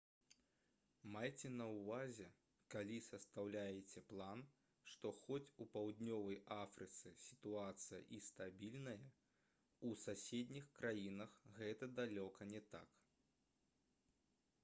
майце на ўвазе калі састаўляеце план што хоць у паўднёвай афрыцы сітуацыя і стабільная у суседніх краінах гэта далёка не так